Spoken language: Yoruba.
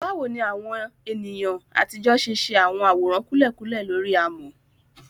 Báwo ni àwọn ènìyàn àtijọ́ ṣe ṣe àwọn àwòrán kúlẹ̀kúlẹ̀ lórí amọ̀?